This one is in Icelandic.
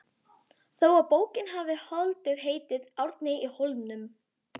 þó að bókin hafi hlotið heitið Árni í Hólminum.